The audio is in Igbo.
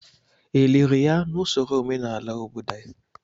Eliri ya na usoro omenala obodo anyị?